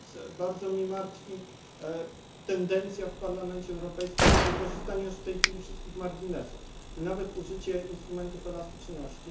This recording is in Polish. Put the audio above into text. Dlatego bardzo mnie martwi tendencja w Parlamencie Europejskim do wykorzystania już w tej chwili wszystkich marginesów, nawet użycie instrumentów elastyczności.